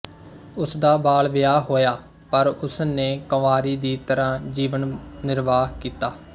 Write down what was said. ਉਸ ਦਾ ਬਾਲਵਿਆਹ ਹੋਇਆ ਪਰ ਉਸ ਨੇ ਕੰਵਾਰੀ ਦੀ ਤਰ੍ਹਾਂ ਜੀਵਨਨਿਰਬਾਹ ਕੀਤਾ